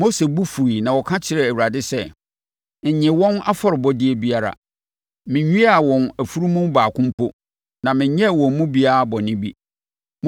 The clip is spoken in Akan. Mose bo fuiɛ na ɔka kyerɛɛ Awurade sɛ, “Nnye wɔn afɔrebɔdeɛ biara! Menwiaa wɔn afunumu baako mpo na menyɛɛ wɔn mu biara bɔne bi.”